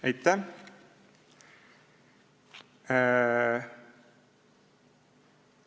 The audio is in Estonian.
Aitäh!